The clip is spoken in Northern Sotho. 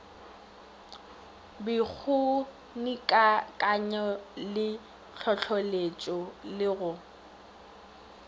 bokgonikakanyo le hlohloletšego le go